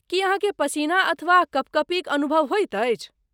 की अहाँकेँ पसीना अथवा कँपकँपीक अनुभव होइत अछि?